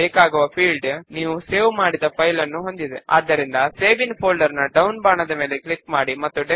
మన ఫామ్ ను చూడడము కొరకు ఎడమ వైపున ఉన్న 8 స్టెప్ లను అనుసరిద్దాము